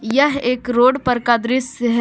यह एक रोड पर का दृश्य है।